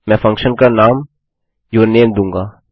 मैं फंक्शन का नाम यूरनेम दूँगा